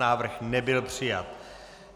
Návrh nebyl přijat.